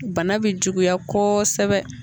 Bana bɛ juguya kosɛbɛ.